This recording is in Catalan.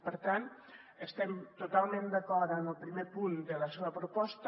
per tant estem totalment d’acord amb el primer punt de la seva proposta